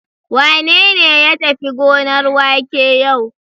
Wane ne ya tafi gonar wake yau?